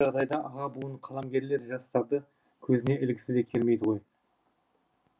көп жағдайда аға буын қаламгерлер жастарды көзіне ілгісі келмейді ғой